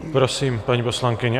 Prosím, paní poslankyně.